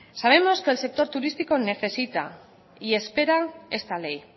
sabemos que el sector turístico necesita y espera esta ley